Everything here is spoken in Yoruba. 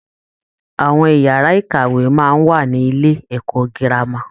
Àwọn ìyàrá-ìkàwé máa ń wà ní Ilé-ẹ̀kọ́ gírámà